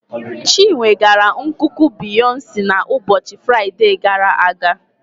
Chinwe gara nkuku Beyonce n'ụbọchị Fraịde gara aga.